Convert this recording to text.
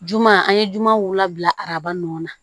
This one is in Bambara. Juma an ye juma wula bila araba nɔ na